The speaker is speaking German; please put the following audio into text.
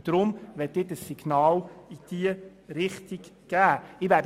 Deshalb möchte ich ein Signal in diese Richtung senden.